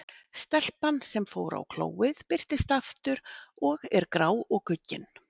Stelpan, sem fór á klóið, birtist aftur og er grá og guggin.